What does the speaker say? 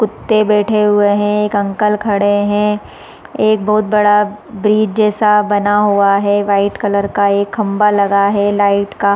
कुत्ते बैठे हुए है एक अंकल खड़े है एक बहोत बड़ा ब्रीच जैसा बना हुआ है वाइट कलर का एक खम्भा लगा है लाइट का--